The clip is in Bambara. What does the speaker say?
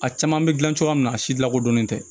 A caman bɛ dilan cogoya min na a si lakodɔnnen tɛ